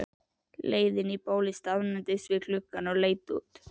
leiðinni í bólið staðnæmdist ég við gluggann og leit út.